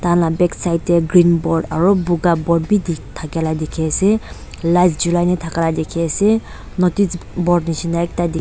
tahan la backside tae green word aro buka board bi thakila dikhiase light chulai kae na thaka bi dikhiase notice board --